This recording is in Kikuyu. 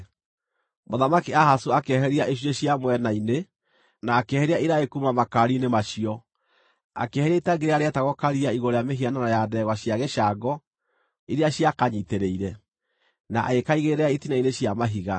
Mũthamaki Ahazu akĩeheria icunjĩ cia mwena-inĩ, na akĩeheria iraĩ kuuma makaari-inĩ macio. Akĩeheria itangi rĩrĩa rĩetagwo Karia igũrũ rĩa mĩhianano ya ndegwa cia gĩcango iria ciakanyiitĩrĩire, na agĩkaigĩrĩra itina-inĩ cia mahiga.